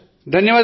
శభాశ్